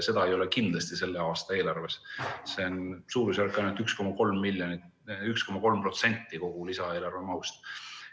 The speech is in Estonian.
Seda ei ole kindlasti selle aasta eelarves, kuigi see moodustaks ainult 1,3% kogu lisaeelarve mahust.